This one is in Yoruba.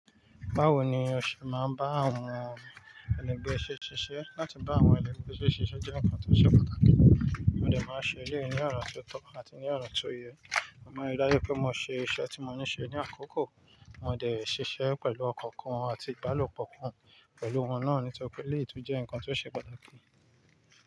Báwo ni o ṣe máa ń bá àwọn ẹlẹgbẹ́ ṣe ṣiṣẹ́? Láti bá àwọn ẹlẹgbẹ́ mi ṣiṣẹ́ jẹ́ nǹkan tó ṣe pàtàkì. Mo dẹ̀ máa ń ṣèléyìí ní ọ̀nà tó tọ́ àti ní ọ̀nà tó yẹ. Mo maa ń rí dájú pé mo ṣe iṣẹ́ tí mo ní ṣe ní àkókò, mo dẹ̀ ṣiṣẹ́ pẹ̀lú ọ̀kan kan àti ìbálòpọ̀ kan. Pẹ̀lú wọn náà nítorí pé eléyìí tún jẹ́ nǹkan tó ṣe pàtàkì.